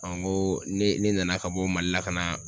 n ko ne ,ne nana ka bɔ Mali la ka na